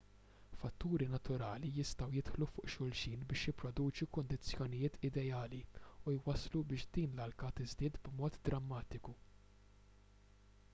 fatturi naturali jistgħu jidħlu fuq xulxin biex jipproduċu kundizzjonijiet ideali u jwasslu biex din l-alka tiżdied b'mod drammatiku